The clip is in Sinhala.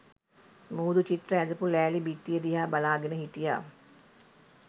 මුහුදු චිත්‍ර ඇඳපු ලෑලි බිත්තිය දිහා බලාගෙන හිටියා